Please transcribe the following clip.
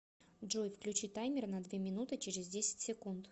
джой включи таймер на две минуты через десять секунд